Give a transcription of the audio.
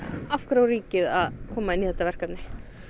af hverju á ríkið að koma inn í þetta verkefni